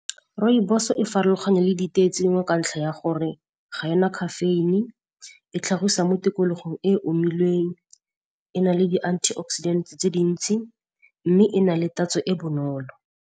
Rooibos-o e farologana le ditee tse dingwe ka ntlha ya gore ga ena caffeine, e tlhagisa mo tikologong e e omileng, e na le di-antioxidant tse dintsi, mme e na le tatso e bonolo.